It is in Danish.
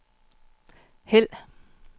hæld